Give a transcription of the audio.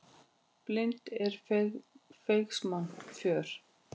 Blind er feigs manns för.